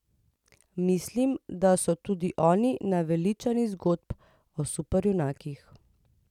Mislim, da so tudi oni naveličani zgodb o superjunakih.